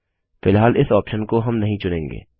फिलहाल इस ऑप्शन को हम नहीं चुनेंगे